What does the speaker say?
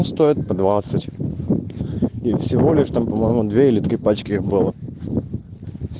стоит по двадцать и всего лишь там по-моему две или три пачки их было